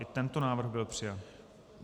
I tento návrh byl přijat.